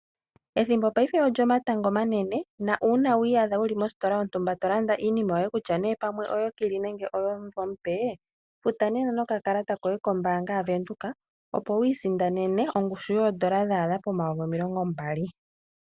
Ethimbo paife olyomatango omanene na uuna wi iyadha wuli mositola yontumba to landa iinima yoye kutya nee pamwe oyokili nenge pamwe oyomumvo omupe, futa nena nokakalata koye kombaanga yaVenduka opo wi isindanene ongushu yoodola dha adha pomayovi omilongo mbali.